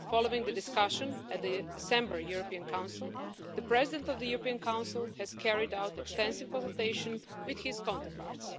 Following the discussion at the December European Council, the President of the European Council has carried out extensive consultation with his counterparts.